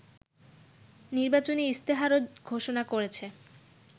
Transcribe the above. নির্বাচনী ইশতেহারও ঘোষণা করেছে